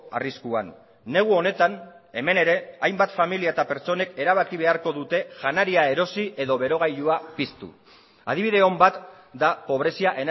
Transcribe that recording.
arriskuan negu honetan hemen ere hainbat familia eta pertsonek erabaki beharko dute janaria erosi edo berogailua piztu adibide on bat da pobrezia